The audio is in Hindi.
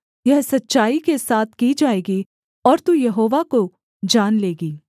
यह सच्चाई के साथ की जाएगी और तू यहोवा को जान लेगी